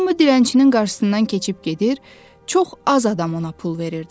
Hamı dilənçinin qarşısından keçib gedir, çox az adam ona pul verirdi.